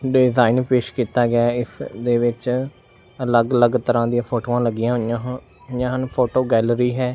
Design ਪੇਸ਼ ਕੀਤਾ ਗਿਆ ਹੈ ਇਸ ਦੇ ਵਿੱਚ ਅਲੱਗ ਅਲੱਗ ਤਰ੍ਹਾਂ ਦੀਆਂ ਫੋਟੋਆਂ ਲੱਗੀਆਂ ਹੋਈਆਂ ਹਨ ਫੋਟੋ ਗੈਲਰੀ ਹੈ।